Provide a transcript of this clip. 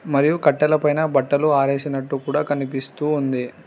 మరియు కట్టెల పైన బట్టలు ఆరేసినట్టు కూడా కనిపిస్తూ ఉంది.